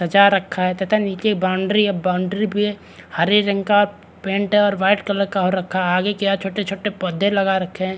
सजा रखा है तथा नीचे बाउंड्री है बाउंड्री भी हरे रंग का पेंट है और वाइट कलर का हो रखा है आगे की ओर छोटे - छोटे पौधे लगा रखे है।